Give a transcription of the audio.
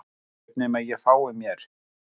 Hver veit nema að ég fái mér